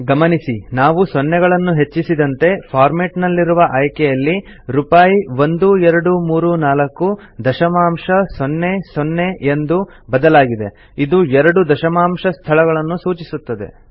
ಗಮನಿಸಿ ನಾವು ಸೊನ್ನೆಗಳನ್ನು ಹೆಚ್ಚಿಸಿದಂತೆ ಫಾರ್ಮೆಟ್ ನಲ್ಲಿರುವ ಆಯ್ಕೆಯಲ್ಲಿ ರೂಪಾಯಿ 1234 ದಶಮಾಂಶ ಸೊನ್ನೆ ಸೊನ್ನೆ ಎಂದು ಬದಲಾಗಿದೆ ಇದು ೨ ದಶಮಾಂಶ ಸ್ಥಳಗಳನ್ನು ಸೂಚಿಸುತ್ತದೆ